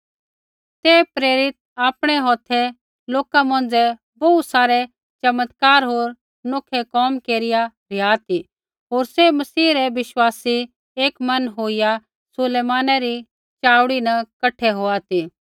ते प्रेरित आपणै हौथै लोका मौंझ़ै बोहू सारै चिन्ह चमत्कार होर नौखै कोम केरिआ रिहा ती होर सैभ मसीह रै बिश्वासी एक मन होईया सुलैमाना री चाऊड़ी न कठा होआ ती